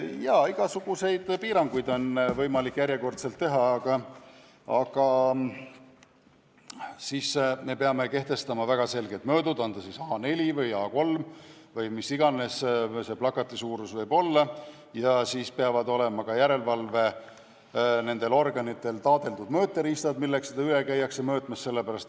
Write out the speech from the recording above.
Jaa, igasuguseid piiranguid on võimalik järjekordselt teha, aga siis me peame plakati suurusele kehtestama väga selged mõõdud – on ta siis A4 või A3 või mis iganes – ja siis peavad ka järelevalveorganitel olema taadeldud mõõteriistad, millega käiakse plakateid üle mõõtmas.